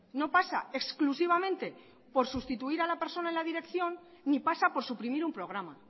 no pasa exclusivamente por sustituir a la persona en la dirección ni pasa por suprimir un programa